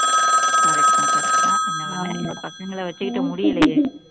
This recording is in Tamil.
correct தான் correct தான் என்ன பண்ண இந்த பசங்களை வச்சுக்கிட்டு முடியலயே